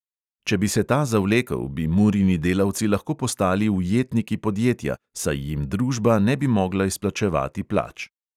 Če bi se ta zavlekel, bi murini delavci lahko postali ujetniki podjetja, saj jim družba ne bi mogla izplačevati plač.